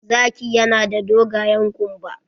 Zaki ya na da dogayen kumba